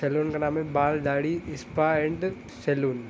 Salon का नाम बाल दाढ़ी ईस्पा एण्ड सैलून ।